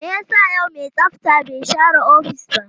Me yasa yau mai tsafta bai share ofis ba?